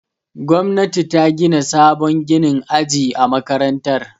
Gwamnati ta gina sabon ginin aji a makarantar.